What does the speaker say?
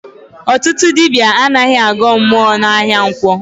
Ọtụtụ ndị dibịa anaghị agọ mmụọ n'ahịa nkwọ